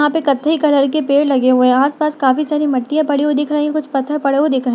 यहाँ पे कथई कलर के पेड़ लगे हुए है। आस पास काफी सारी मिट्टिया पड़ी हुई दिख रही है कुछ पत्थर पड़े हुए दिख रहे है।